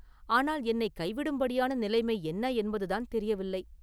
ஆனால் என்னைக் கைவிடும்படியான நிலைமை என்ன என்பதுதான் தெரியவில்லை!